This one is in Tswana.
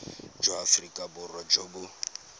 jwa aforika borwa jo bo